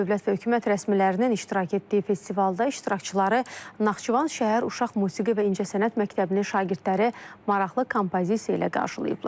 Dövlət və hökumət rəsmilərinin iştirak etdiyi festivalda iştirakçıları Naxçıvan şəhər Uşaq Musiqi və İncəsənət məktəbinin şagirdləri maraqlı kompozisiya ilə qarşılayıblar.